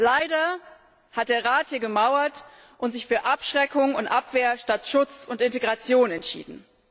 Leider hat der Rat hier gemauert und sich für Abschreckung und Abwehr statt Schutz und Integration entschieden.